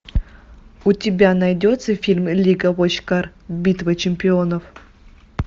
у тебя найдется фильм лига вотчкар битва чемпионов